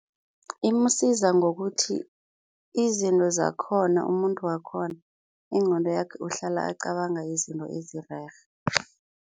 Imsiza ngokuthi izinto zakhona umuntu wakhona, ingqondo yakhe uhlala acabanga izinto ezirerhe.